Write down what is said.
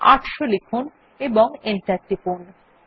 ৮০০ লিখুন এবং Enter টিপুন